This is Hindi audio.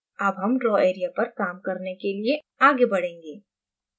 अब हम draw area पर काम करने के लिए आगे बढ़ेंगें